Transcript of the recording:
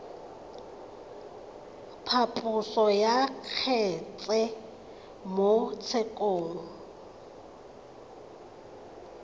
phaposo ya kgetse mo tshekong